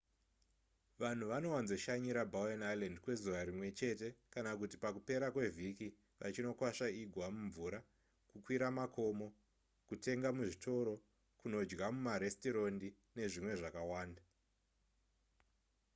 vanhu vanowanzoshanyira bowen island kwezuva rimwe chete kana kuti pakupera kwevhiki vachinokwasva igwa mumvura kukwira makomo kutenga muzvitoro kunodya mumaresitorendi nezvimwe zvakawanda